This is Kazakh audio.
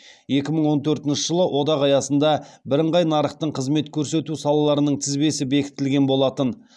екі мың он төртінші жылы одақ аясында бірыңғай нарықтың қызмет көрсету салаларының тізбесі бекітілген болатын